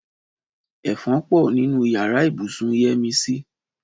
Ẹ̀fọn pọ̀ nínú yàrá ibùsùn Yẹ́misí